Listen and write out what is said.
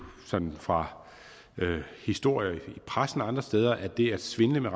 sådan fra historier i pressen og andre steder at det at svindle med